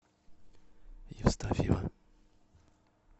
евстафьева